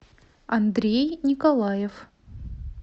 андрей николаев